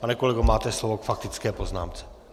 Pane kolego, máte slovo k faktické poznámce.